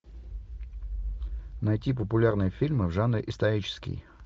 найти популярные фильмы в жанре исторический